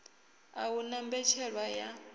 a hu na mbetshelwa ya